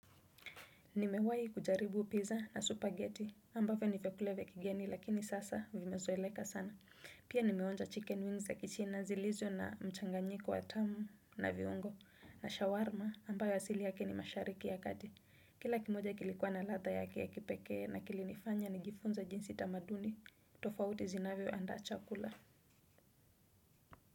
Nimewahi kujaribu pizza na supageti ambavyo ni vyakula vya kigeni lakini sasa vimezoeleka sana. Pia nimeonja chicken wings za kichina zilizo na mchanganyiko wa tamu na viungo na shawarma ambayo asili yake ni mashariki ya kati. Kila kimoja kilikuwa na ladha yake ya kipekee na kilinifanya nijifunza jinsi tamaduni tofauti zinavyo andaa chakula.